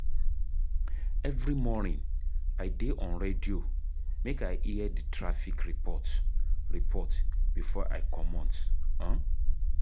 Every morning, I dey on radio make I hear di traffic report report before I comot. um